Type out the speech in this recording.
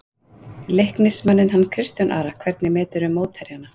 Leiknismanninn hann Kristján Ara Hvernig meturðu mótherjana?